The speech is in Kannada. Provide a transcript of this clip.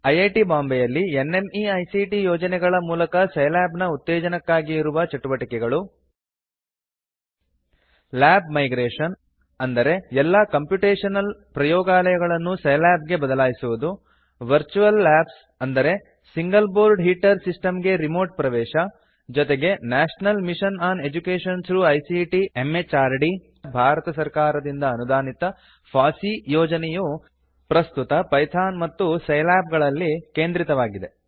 ಐಐಟಿ ಬಾಂಬೆಯಲ್ಲಿ ನ್ಮೈಕ್ಟ್ ಯೋಜನೆಗಳ ಮೂಲಕ ಸೈಲ್ಯಾಬ್ ನ ಉತ್ತೇಜನಕ್ಕಾಗಿ ಇರುವ ಚಟುವಟಿಕೆಗಳು ಲ್ಯಾಬ್ ಮೈಗ್ರೇಶನ್ ಎಂದರೆ ಎಲ್ಲಾ ಕಾಂಪ್ಯುಟೇಶನಲ್ ಪ್ರಯೋಗಾಲಯಗಳನ್ನು ಸೈಲ್ಯಾಬ್ ಗೆ ಬದಲಾಯಿಸುವುದು ವರ್ಚುಯಲ್ ಲ್ಯಾಬ್ಸ್ ಎಂದರೆ ಸಿಂಗಲ್ ಬೋರ್ಡ್ ಹೀಟರ್ ಸಿಸ್ಟಮ್ ಗೆ ರಿಮೋಟ್ ಪ್ರವೇಶ ಜೊತೆಗೆ national mission on education through ICT ಮಾನವ ಸಂಪನ್ಮೂಲ ಅಭಿವೃದ್ಧಿ ಸಚಿವಾಲಯ ಭಾರತ ಸರ್ಕಾರದಿಂದ ಅನುದಾನಿತ ಫಾಸ್ಸಿ ಯೋಜನೆಯು ಪ್ರಸ್ತುತ ಪೈಥಾನ್ ಮತ್ತು ಸೈಲ್ಯಾಬ್ ಗಳಲ್ಲಿ ಕೇಂದ್ರಿತವಾಗಿದೆ